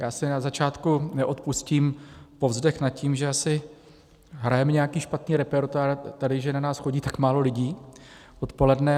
Já si na začátku neodpustím povzdech nad tím, že asi hrajeme nějaký špatný repertoár tady, že na nás chodí tak málo lidí odpoledne.